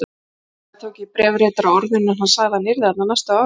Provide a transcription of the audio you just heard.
Líklega tók ég bréfritara á orðinu, en hann sagði að hann yrði þarna næstu árin.